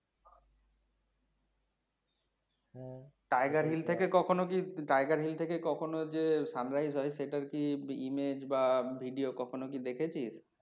tiger hill টা কে কখনো tiger hill টা কে কখনো যে sunrise হয় সেটা কি image বা video কখন ও কি দেখেছিস?